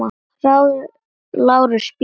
LÁRUS: Bíðið aðeins.